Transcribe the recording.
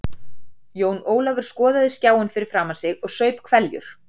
Jón Ólafur skoðaði skjáinn fyrir framan sig og saup hveljur.